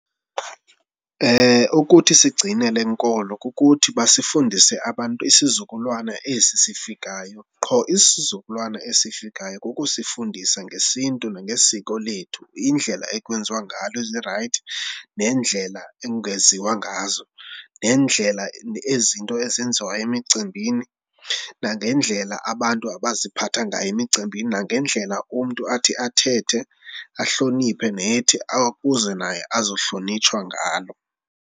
Ukuthi sigcine le nkolo kukuthi basifundise abantu isizukulwana esi sifikayo. Qho isizukulwana esifikayo kukusifundisa ngesiNtu nangesiko lethu, indlela ekwenziwa ngalo ezirayithi nendlela ekungenziwa ngazo nendlela ezinto ezenziwayo emicimbini nangendlela abantu abaziphatha ngayo emicimbini nangendlela umntu athi athethe, ahloniphe nethi ukuze naye azohlonitshwa ngalo.